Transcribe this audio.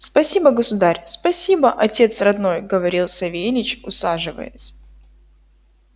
спасибо государь спасибо отец родной говорил савельич усаживаясь